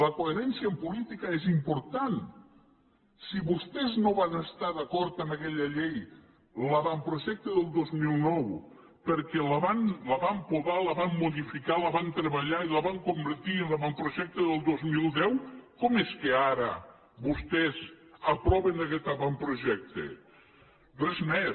la coherència en política és important si vostès no van estar d’acord amb aquella llei l’avantprojecte del dos mil nou perquè la van podar la van modificar la van treballar i la van convertir en l’avantprojecte del dos mil deu com és que ara vostès aproven aguest avantprojecte res més